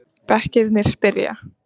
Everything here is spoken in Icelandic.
Bekkirnir spyrja!